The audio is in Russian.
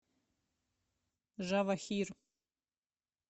жавохир